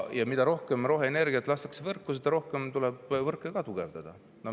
Ja mida rohkem roheenergiat võrku lastakse, seda rohkem tuleb võrke tugevdada.